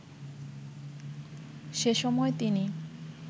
সেসময় তিনি